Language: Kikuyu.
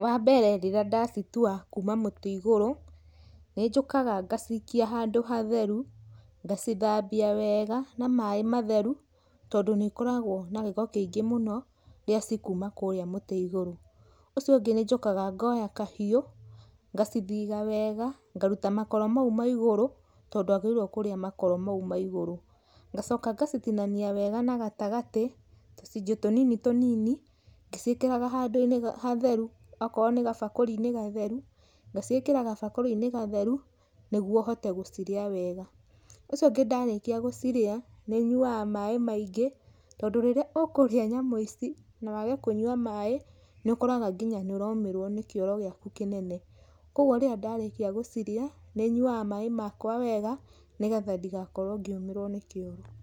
Wambere rĩrĩa ndacitua kuma mũtĩ igũrũ, nĩ njũkaga ngacikia handũ hatheru, ngacithambia weega na maĩ matheru tondũ nĩ ĩkoragwo na gĩko kĩingĩ mũno rĩrĩa cikuma kũrĩa mũtĩ igũrũ. Ũcio ũngĩ nĩ njũkaga ngoya kahiũ, ngacithiga wega, ngaruta makoro mau ma igũrũ tondũ ndwagĩrĩirwo kũrĩa makoro mau ma igũrũ. Ngacoka ngacitinania wega na gatagatĩ tũcunjĩ tũnini tũnini ngĩciĩkĩraga handũ-inĩ hatheru, okorwo nĩ gabakũri-inĩ gatheru, ngaciĩkĩra gabakũri-inĩ gatheru nĩguo hote gũciria wega. Ũcio ũngĩ ndarĩkia gũcirĩa, nĩ nyuaga maĩ maingĩ tondũ rĩrĩa ũkũrĩa nyamũ ici na wage kũnyua maĩ, nĩ ũkoraga nginya nĩ ũromĩrwo nĩ kĩoro gĩaku kĩnene, koguo rĩrĩa ndarĩkia gũciria, nĩ nyuaga maĩ makwa wega nĩgetha ndigakorwo ngĩũmĩrwo nĩ kĩoro.